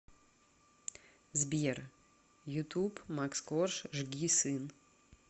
сбер ютуб макс корж жги сын